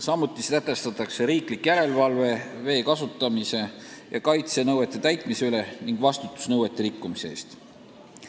Samuti sätestatakse riiklik järelevalve vee kasutamise ja kaitse nõuete täitmise üle ning vastutus nõuete rikkumise eest.